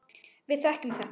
Við þekkjum þetta.